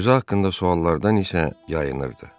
Özü haqqında suallardan isə yayınırdı.